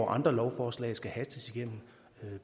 andre lovforslag skal hastes igennem